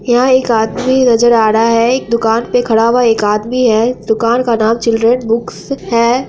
यहाँ एक आदमी नजर आ रहा है| एक दुकान पे खड़ा हुआ एक आदमी है दुकान का नाम चिल्ड्रेन बुक्स है।